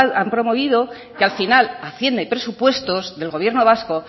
han promovido que al final hacienda y presupuestos del gobierno vasco